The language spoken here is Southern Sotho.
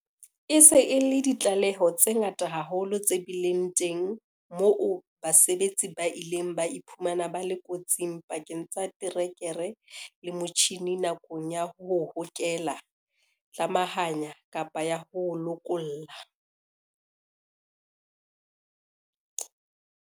E se e le ditlaleho tse ngata haholo tse bileng teng moo basebetsi ba ileng ba iphumana ba le kotsing pakeng tsa terekere le motjhine nakong ya ho hokela, tlamahanya, kapa ya ho lokolla.